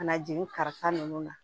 Ka na jeni kasa nunnu na